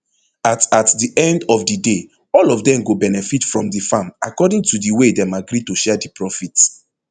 at at di end of di day all of dem go benefit from di farm according to di way dem agree to share di profit